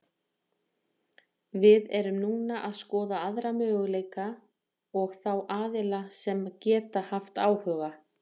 Við erum núna að skoða aðra möguleika og þá aðila sem geta haft áhuga.